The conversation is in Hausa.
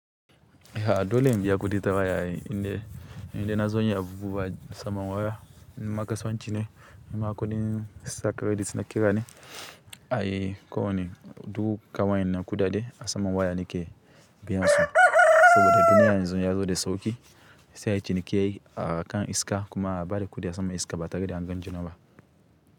Ha dole mjiya kuɗi tawa yayi, inde, inde na zo nya bubuwa saman waya. Amma kasuwan ci ne amma kuɗin sa credit nakira ne ai kowa ne duk ka wa ennan saboda duniya yanzu ya zo da sauƙi, sai a ci nike akan iska kuma a bada kuɗi a sama iska ba ta gani an gan juna ba.